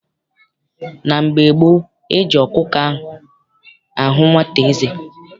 Na mgbe gboo, eji ọkụkọ ahụ nwata eze.